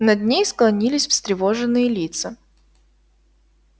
над ней склонились встревоженные лица